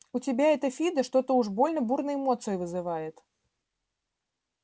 у тебя это фидо что-то уж больно бурные эмоции вызывает